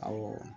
Awɔ